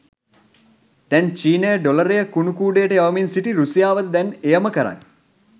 දැන් චීනය ඩොලරය කුණු කූඩයට යවමින් සිටී රුසියාවද දැන් එයම කරයි.